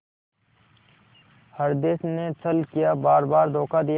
हृदय ने छल किया बारबार धोखा दिया